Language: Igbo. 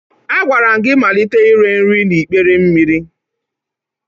Agwara m gị malite ire nri n'ikpere mmiri!